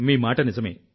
మీ మాట నిజమే